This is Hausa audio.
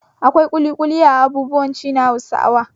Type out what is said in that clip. Akwai ƙuliƙuli a abubuwan ci na Hausawa.